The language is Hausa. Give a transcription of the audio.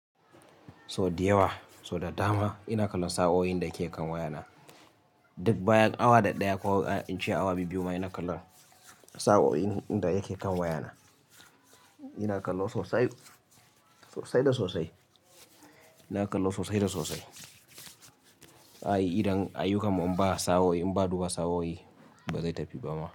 So da yawa, so da dama ina kallon sa'o'in da ke kan wayana. Duk bayan awa daddaya ko in ce awa biyu-biyu ma ina kallon sa'o'in inda yake kan wayana. Ina kallo sosai, sosai da sosai. Ina kallo sosai da sosai. Ai, idan a yi kamar in ba sa'o'i, in ba duba sa'o'i ba zai tafi ba ma.